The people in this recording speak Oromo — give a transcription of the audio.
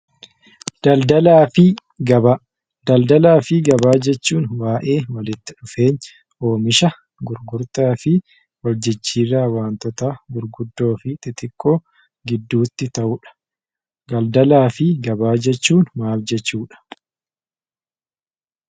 Daldalaa fi Gabaa jechuun baay'ee walitti dhufeenya oomisha gurgurtaa fi hojiicharraa waantota gurguddoo fi xixiqqoo gidduutti ta'udha. Daldalaa fi Gabaa jechuun maal jechuudha?